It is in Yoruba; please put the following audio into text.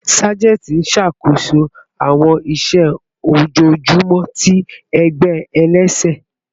Sajenti n ṣakoso awọn iṣẹ ojoojumọ ti ẹgbẹ ẹlẹsẹ